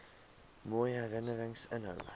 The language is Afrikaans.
mooi herinnerings inhou